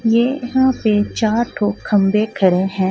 ये हापे चार ठो खम्भे खड़े हे.